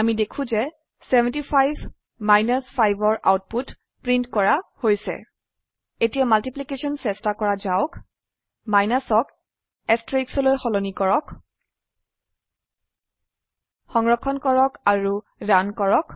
অামি দেখো যে 75 5 ৰ আউটপুট প্ৰীন্ট কৰা হৈছে এতিয়া মাল্টিপ্লিকেশ্যন চেস্তা কৰা যাওক মাইনাছ ক এষ্টাৰিস্ক লৈ সলনি কৰক সংৰক্ষণ কৰক আৰু ৰান কৰক